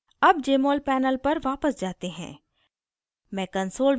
अब jmol panel पर वापस जाते हैं